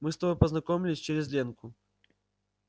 мы с тобой познакомились через ленку